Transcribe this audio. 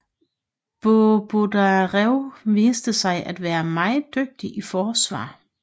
Bondarev viste sig at være meget dygtig i forsvar